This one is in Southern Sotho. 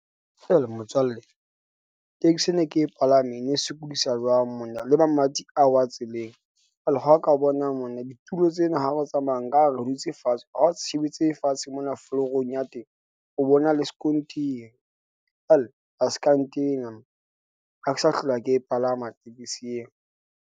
Hela motswalle, taxi ene ke e palame e ne e sokodisa jwang monna le mamati a wa tseleng. Jwale ha o ka bona monna ditulo tsena, ha re tsamaya nka re re dutse fatshe, ha o se shebetse fatshe mona, florong ya teng o bona le skontiri. Hell a ska ntena ha ke sa hlola ke e palama tekesi eo.